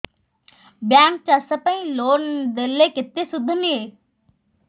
bank ଚାଷ ପାଇଁ loan ଦେଲେ କେତେ ସୁଧ ନିଏ